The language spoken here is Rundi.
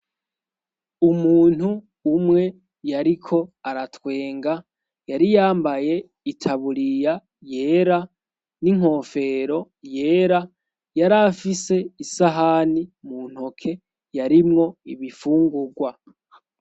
Umuntu umwe yariko aratwenga yariyambaye itaburiya yera n'inkofero yera yarafise isahani mu ntoke yarimwo ibifungurwa.